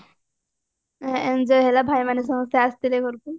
enjoy ହେଲା ଭାଇ ମାନେ ସମସ୍ତେ ଆସିଥିଲେ ଘରକୁ